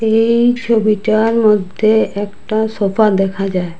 এই ছবিটার মধ্যে একটা সোফা দেখা যায়।